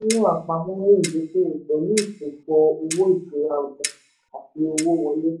àpamọ́wọ́ ìdókòwó pẹ̀lú ìsopọ̀ owó ìsura ọjà àti owó wọlé.